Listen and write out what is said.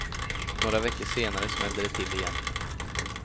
Några veckor senare smällde det till igen.